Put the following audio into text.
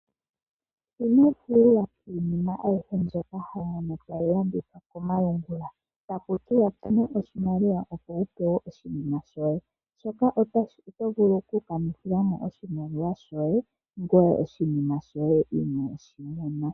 Ino itayela iinima ayihe mbyoka hayi longithwa komalungula taku tiwa tuma oahimaliwa opo wu pewe oshinima shoye, shoka oto vulu oku kanithila mo oshimaliwa shoye ngoye oshinima shoye inooshimona.